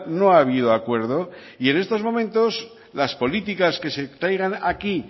no ha habido acuerdo y en estos momentos las políticas que se traigan aquí